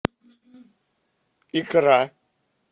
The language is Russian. икра